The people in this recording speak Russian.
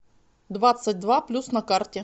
двадцать два плюс на карте